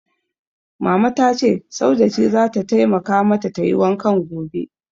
Mama ta ce Saude ce zata taimakawa mata tayi wankan gobe.